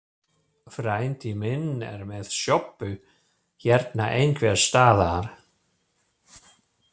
Frændi minn er með sjoppu hérna einhvers staðar.